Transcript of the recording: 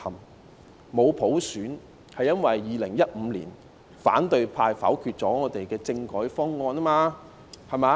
我們沒有普選是因為2015年反對派否決我們的政改方案。